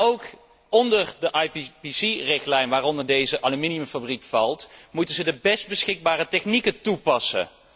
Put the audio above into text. Maar ook onder de IPPC richtlijn, waaronder deze aluminiumfabriek valt, moeten ze de best beschikbare technieken toepassen.